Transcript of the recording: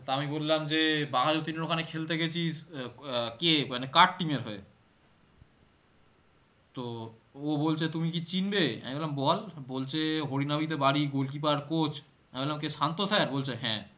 তা আমি বললাম যে বাঘাযতীনের ওখানে খেলতে গেছিস আহ আহ কে মানে কার team এর হয়ে? তো ও বলছে তুমি কি চিনবে, আমি বললাম বল বলছে হরিনাবিতে বাড়ি gol keeper coach আমি বললাম কে শান্ত sir বলছে হ্যাঁ